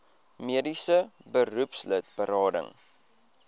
mediese beroepslid berading